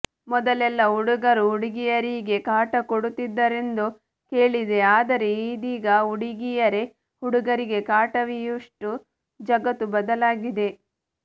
ಮೊದಲೆಲ್ಲ ಹುಡುಗರು ಹುಡುಗಿಯರಿಗೆ ಕಾಟ ಕೊಡುತ್ತಿದ್ದರೆಂದು ಕೇಳಿದ್ದೆ ಆದರೆ ಇದೀಗ ಹುಡುಗೀಯರೆ ಹುಡುಗರಿಗೆ ಕಾಟವೀಯುವಷ್ಟು ಜಗತ್ತು ಬದಲಾಗಿದೆ